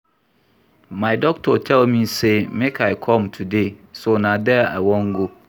My doctor tell me say make I come today so na there I wan go